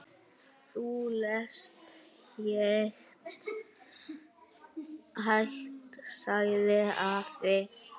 Þú lest hægt, sagði afi.